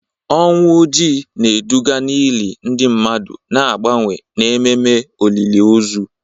Ọnwụ Ojii na-eduga n'ili ndị mmadụ na mgbanwe n'ememe olili ozu.